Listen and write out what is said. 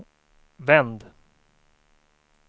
vänd